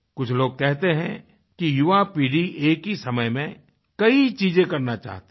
कुछ लोग कहते हैं कि युवा पीढ़ी एक ही समय में कई चीज़ें करना चाहती है